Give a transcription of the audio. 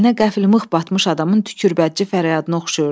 Əlinə qəflən mıx batmış adamın tükürbətli fəryadına oxşayırdı.